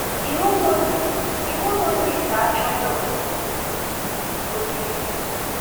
Iwu Mosis Iwu Mosis achọghị onyinye osisi.